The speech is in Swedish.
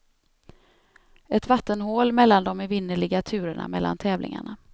Ett vattenhål mellan de evinnerliga turerna mellan tävlingarna.